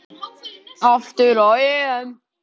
Aftur á EM.